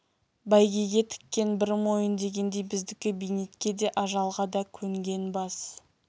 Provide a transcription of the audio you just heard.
бәйгеге тіккен бір мойын дегендей біздікі бейнетке де ажалға да көнген бас